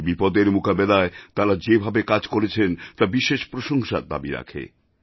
এই বিপদের মোকাবিলায় তাঁরা যেভাবে কাজ করেছেন তা বিশেষ প্রশংসার দাবী রাখে